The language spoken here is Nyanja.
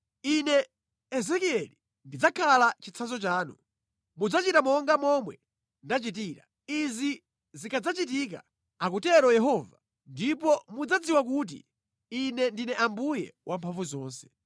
Ine Ezekieli ndidzakhala chitsanzo chanu. Mudzachita monga momwe ndachitira. Izi zikadzachitika, akutero Yehova, ndipo mudzadziwa kuti Ine ndine Ambuye Wamphamvuzonse.’